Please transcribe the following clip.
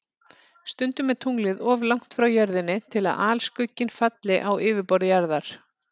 Stundum er tunglið of langt frá Jörðinni til að alskugginn falli á yfirborð Jarðar.